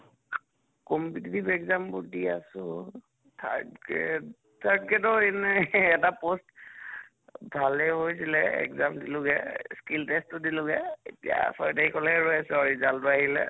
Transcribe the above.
competitive exam বোৰ দি আছো third grade third grade ৰ এনে এটা post ভালে হৈছিলে exam দিলোগে, skill test ও দিলোগে এতিয়া ছয় তাৰিখলৈ ৰৈ আছো আৰু result টো আহিলে